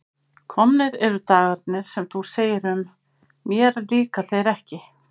Komnir eru dagarnir sem þú segir um: mér líka þeir ekki.